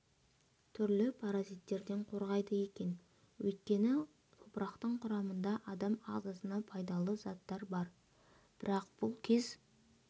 түрлі паразиттерден қорғайды екен өйткені топырақтың құрамында адам ағзасына пайдалы заттар бар бірақ бұл кез